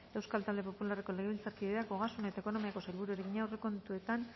euskal talde popularreko legebiltzarkideak ogasun eta ekonomiako sailburuari egina aurrekontuetan